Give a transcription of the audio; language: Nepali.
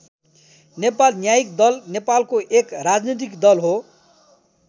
नेपाल न्यायिक दल नेपालको एक राजनीतिक दल हो।